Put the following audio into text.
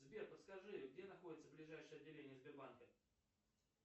сбер подскажи где находится ближайшее отделение сбербанка